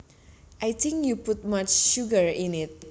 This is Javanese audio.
I think you put much sugar in it